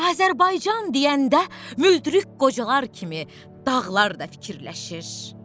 Azərbaycan deyəndə müldürük qocalar kimi dağlar da fikirləşir.